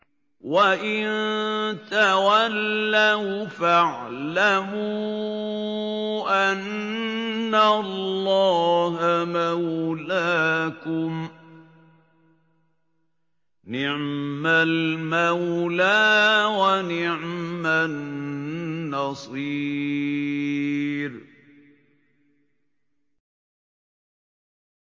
وَإِن تَوَلَّوْا فَاعْلَمُوا أَنَّ اللَّهَ مَوْلَاكُمْ ۚ نِعْمَ الْمَوْلَىٰ وَنِعْمَ النَّصِيرُ